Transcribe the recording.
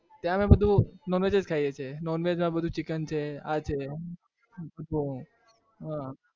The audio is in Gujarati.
ત્યાં અમે બધું non-veg જ ખાઈએ છીએ non-veg માં બધું chicken છે આ છે હ